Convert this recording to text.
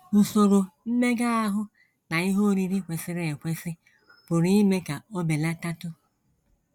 Usoro mmega ahụ na ihe oriri kwesịrị ekwesị pụrụ ime ka o belatatụ